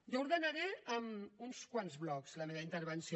jo ordenaré en uns quants blocs la meva intervenció